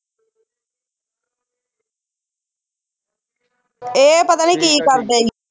ਇਹ ਪਤਾ ਨਹੀਂ ਕੀ ਕਰਦੇ ਸੀ